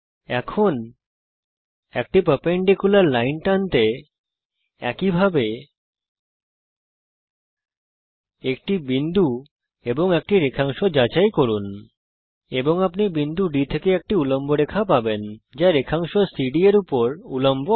একইভাবে একটি বিন্দু এবং তারপর রেখা যাচাই করে আপনি একটি উল্লম্ব রেখা টানতে পারেন এবং আপনি বিন্দু D থেকে একটি উল্লম্ব রেখা পাবেন যা রেখাংশ সিডি এর উপর উল্লম্ব হবে